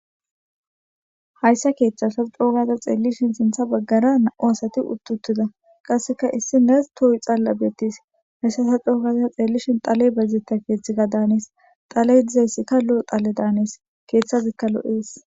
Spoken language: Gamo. Haysa ketha ta co gada xelihine sintha bagara na'u asati uiti utida qaseka issinas toyi xala betese haysa co gada xelishin dhaley bayzetiza dannese dhaley dizaysikka lo'o dannese kethazikka lo'ese